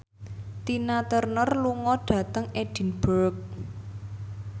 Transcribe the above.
Tina Turner lunga dhateng Edinburgh